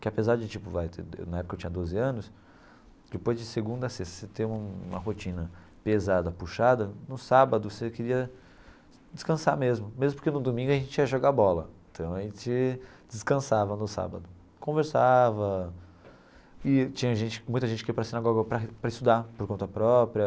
que apesar de tipo vai de de na época eu tinha doze anos, depois de segunda, sexta, você tem um uma rotina pesada, puxada, no sábado você queria descansar mesmo, mesmo porque no domingo a gente ia jogar bola, então a gente descansava no sábado, conversava e tinha gente muita gente que ia para a sinagoga para para estudar por conta própria.